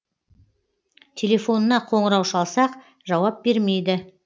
телефонына қоңырау шалсақ жауап бермейді